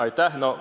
Aitäh!